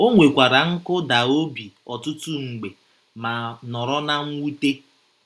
O nwekwara nkụda obi ọtụtụ mgbe ma nọrọ ná mwute